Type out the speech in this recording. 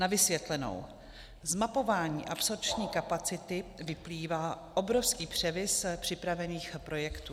Na vysvětlenou: Z mapování absorpční kapacity vyplývá obrovský převis připravených projektů.